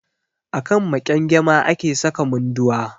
A kan maƙyangyama ake saka Munduwa.